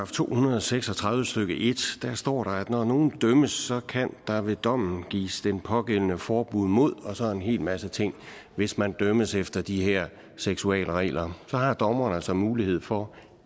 to hundrede og seks og tredive stykke en står der at når nogen dømmes kan der ved dommen gives den pågældende forbud mod en hel masse ting hvis man dømmes efter de her seksualregler så har dommeren altså mulighed for